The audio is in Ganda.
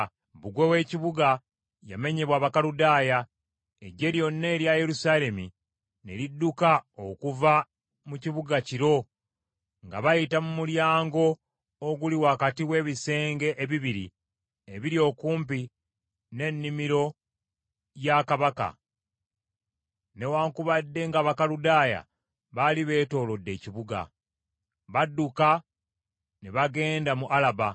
Bbugwe w’ekibuga yamenyebwa Abakaludaaya. Eggye lyonna erya Yerusaalemi ne lidduka okuva mu kibuga kiro nga bayita mu mulyango oguli wakati w’ebisenge ebibiri ebiri okumpi n’ennimiro lwa kabaka, newaakubadde ng’Abakaludaaya baali beetoolodde ekibuga. Badduka ne bagenda mu Alaba.